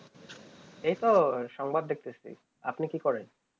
এইতো সংবাদ দেখতেছি আপনি কি করেন?